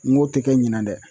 N go te kɛ ɲinan dɛ